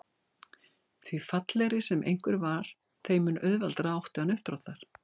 Því fallegri sem einhver var þeim mun auðveldara átti hann uppdráttar.